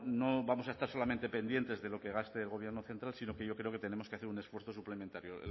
no vamos a estar solamente pendientes de lo que gaste el gobierno central sino que yo creo que tenemos que hacer un esfuerzo suplementario